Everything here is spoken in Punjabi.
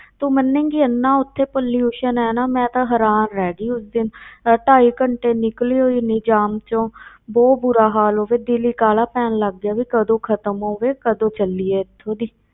ਤੂੰ ਮੰਨੇਗੀ ਇੰਨਾ ਉੱਥੇ pollution ਹੈ ਨਾ ਮੈਂ ਤਾਂ ਹੈਰਾਨ ਰਹਿ ਗਈ ਉਸ ਦਿਨ ਅਹ ਢਾਈ ਘੰਟੇ ਨਿਕਲੀ ਹੋਈ ਨੀ ਜਾਮ ਚੋਂ ਬਹੁਤ ਬੁਰਾ ਹਾਲ ਹੋਵੇ, ਦਿਲ ਹੀ ਕਾਹਲਾ ਪੈਣ ਲੱਗ ਗਿਆ ਵੀ ਕਦੋਂ ਖ਼ਤਮ ਹੋਵੇ, ਕਦੋਂ ਚੱਲੀਏ ਇੱਥੋਂ ਦੀ।